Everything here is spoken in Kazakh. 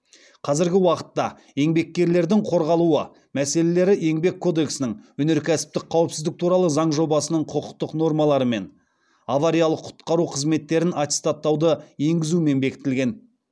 қазіргі уақытта еңбеккерлердің қорғалуы мәселелері еңбек кодексінің өнеркәсіптік қауіпсіздік туралы заң жобасының құқықтық нормаларымен авариялық құтқару қызметтерін аттестаттауды енгізумен бекітілген